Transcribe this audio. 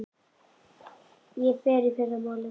Ég fer í fyrramálið.